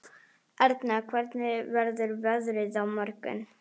Erna, hvernig verður veðrið á morgun?